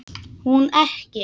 Hún ekki.